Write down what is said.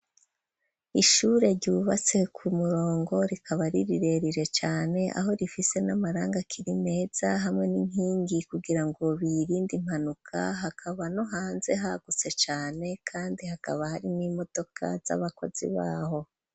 Ishure ryubatse ku murongo rikaba ari rirerire cane, aho rifise n'amarangi akiri meza hamwe n'inkingi kugira ngo birinde impanuka, hakaba no hanze hagutse cane kandi hakaba hari n'imodoka z'abakozi baho.